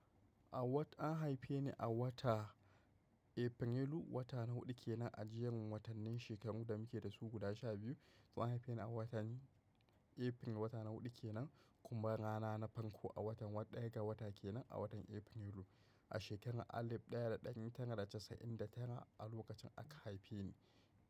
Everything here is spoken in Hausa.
An haife ni a wata Efrelu, wata na huɗu kenan, a jerin watannin shekaru da muke dasu guda sha biyu. To an haife ni a watanni Efril, wata na huɗu kenan, kuma rana na farko a watan, daga wata kenan a watan Efrilun, a shekarar alif ɗaya da ɗari tara da casa'in da tara a lokacin aka haife ni.